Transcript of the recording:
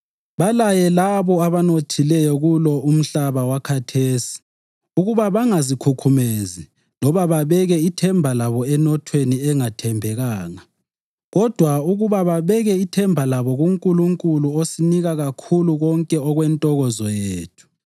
Balaye labo abanothileyo kulo umhlaba wakhathesi ukuba bangazikhukhumezi loba babeke ithemba labo enothweni engathembekanga kodwa ukuba babeke ithemba labo kuNkulunkulu osinika kakhulu konke okwentokozo yethu.